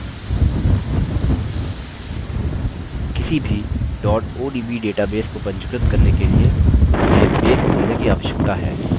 किसी भी odb database को पंजीकृत करने के लिए हमें base खोलने की आवश्यकता है और